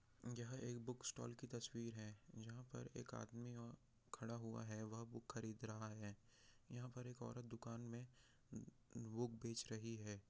यहाँ एक book stall की तस्वीर है यहाँ पर एक आदमी खड़ा हुआ है वह एक बुक खरीद रहा है और यहाँ पर एक औरत दुकान में बुक बेच रही हैं।